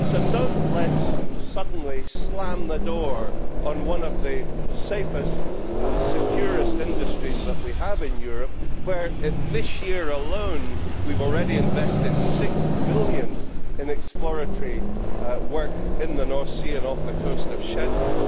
So do not let us suddenly slam the door on one of the safest and most secure industries that we have in Europe, when this year alone, we have already invested GBP 6 billion in exploratory work in the North Sea and off the coast of Shetland.